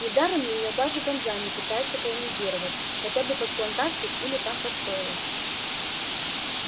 недаром её даже ганза не пытается колонизировать хотя бы под плантации или там под стойла